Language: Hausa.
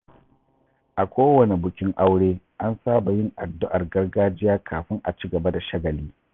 A kowane bukin aure, an saba yin addu’ar gargajiya kafin a ci gaba da shagali.